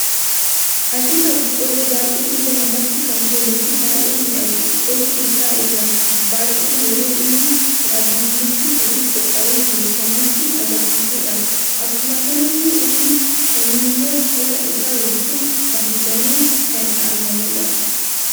Asheeta boqqollo baay'ee ija namatti kan tolu fi baay'ee miidhagu qolli isa irra ba'ee yeroo inni waddiif mukti sadii qopha'ee jiru kan nutti agarsiisuudha. Akkuma kanallee inni kaanimmo qola isaa wajjin haguugame kan argamudha.